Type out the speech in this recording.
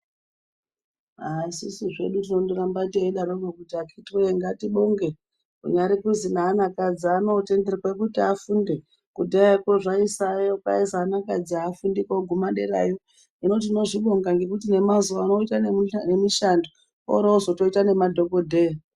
Aaa isusu zvedu tinondoramba teidarokwo kuti akhiti woye ngatibonge kunyari kuzwi neanakadzi anotenderwa kuti ngaafunde ngekuti kudhayakwo zvaisaveyo zvaizi anakadzi afundi koguma derayo hino tinozvibonga nekuti emazuvaano akuita nemishando orozoita nemadhokodheya.